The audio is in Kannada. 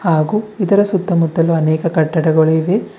ಹಾಗೂ ಇದರ ಸುತ್ತಮುತ್ತಲು ಅನೇಕ ಕಟ್ಟಡಗಳು ಇವೆ.